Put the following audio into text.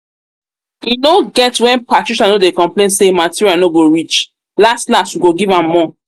no get when patricia no dey complain say material no go reach las las we go give am more